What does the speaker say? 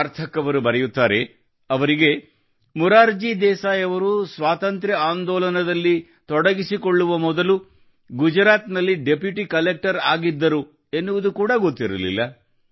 ಸಾರ್ಥಕ್ ಅವರು ಬರೆಯುತ್ತಾರೆ ಅವರಿಗೆ ಮುರಾರ್ಜಿ ದೇಸಾಯಿ ಅವರು ಸ್ವತಂತ್ರ ಆಂದೋಲನದಲ್ಲಿ ತೊಡಗಿಸಿಕೊಳ್ಳುವ ಮೊದಲು ಗುಜರಾತ್ನಲ್ಲಿ ಡೆಪ್ಯೂಟಿ ಕಲೆಕ್ಟರ್ ಆಗಿದ್ದರು ಎನ್ನುವುದು ಕೂಡ ಗೊತ್ತಿರಲಿಲ್ಲ